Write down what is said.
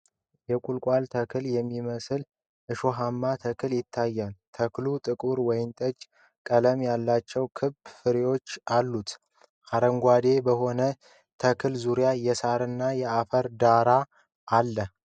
የቁልቋል ተክል የሚመስል እሾሃማ ተክል ይታያል:: ተክሉ ጥቁር ወይንጠጅ ቀለም ያላቸው ክብ ፍሬዎች አሉት:: አረንጓዴ በሆነው ተክል ዙሪያ የሣርና የአፈር ዳራ አለ::